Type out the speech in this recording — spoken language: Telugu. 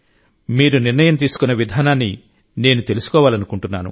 మీరు నిర్ణయం తీసుకున్న విధానాన్ని నేను తెలుసుకోవాలనుకుంటున్నాను